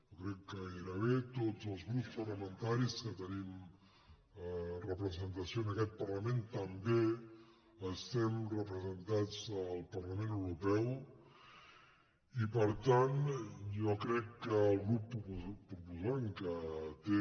jo crec que gairebé tots els grups parlamentaris que te·nim representació en aquest parlament també estem representats al parlament europeu i per tant jo crec que el grup proposant que té